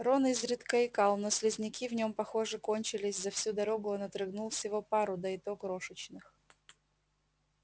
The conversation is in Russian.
рон изредка икал но слизняки в нем похоже кончились за всю дорогу он отрыгнул всего пару да и то крошечных